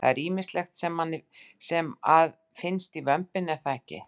Það er ýmislegt sem að finnst í vömbinni er það ekki?